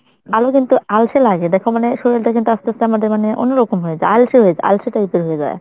আরো কিন্তু আলসে লাগে দেখো মানে শরীরটা কিন্তু আস্তে আস্তে আমাদের অন্যরকম হয়ে যায় আলসে হয়ে যায় আলসে type এর হয়ে যায়।